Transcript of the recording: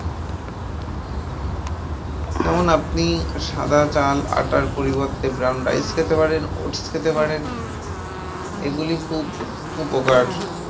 যেমন আপনি সাদা চাল আটার পরিবর্তে brown rice খেতে পারেন, oats খেতে পারেন। এগুলি খুব উপকার